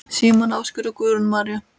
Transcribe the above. Símon Ásgeir og Guðrún María.